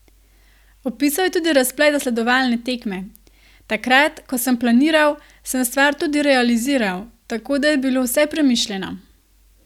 Opisal je tudi razplet zasledovalne tekme: ''Takrat, ko sem planiral, sem stvar tudi realiziral, tako da je bilo vse premišljeno.